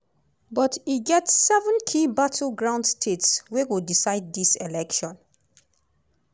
but e get seven key battleground states wey go decide dis election.